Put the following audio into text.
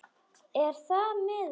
Er það miður.